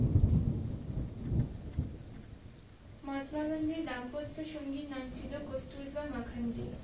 মহাত্মা গান্ধীর দাম্পত্য সঙ্গি নাম ছিল কুস্তুরবা মাখণ্ডি